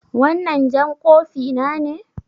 Wannan jan kofi na ne?